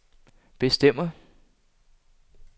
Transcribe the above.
bestemmer